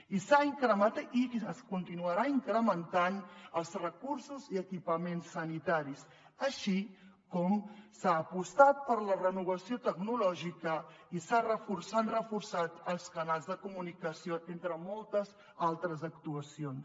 i es continuaran incrementant els recursos i equipaments sanitaris així com s’ha apostat per la renovació tecnològica i s’han reforçat els canals de comunicació entre moltes altres actuacions